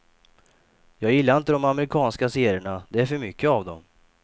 Jag gillar inte de amerikanska serierna, det är för mycket av dem.